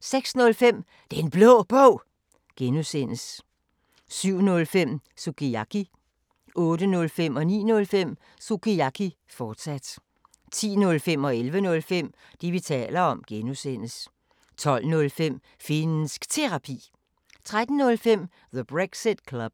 06:05: Den Blå Bog (G) 07:05: Sukiyaki 08:05: Sukiyaki, fortsat 09:05: Sukiyaki, fortsat 10:05: Det, vi taler om (G) 11:05: Det, vi taler om (G) 12:05: Finnsk Terapi 13:05: The Brexit Club